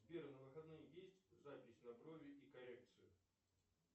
сбер на выходные есть запись на брови и коррекцию